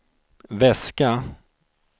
väska